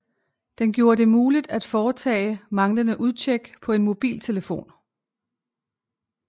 Den gjorde det muligt at foretage manglende udtjek på en mobiltelefon